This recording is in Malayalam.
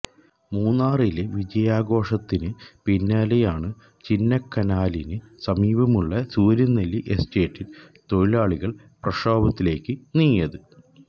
മൂന്നാറിലെ വിജയാഘോഷത്തിന് പിന്നാലെയാണു ചിന്നക്കനാലിന് സമീപമുള്ള സുര്യനെല്ലി എസ്റ്റേറ്റിൽ തൊഴിലാളികൾ പ്രക്ഷോഭത്തിലേക്ക് നീങ്ങിയത്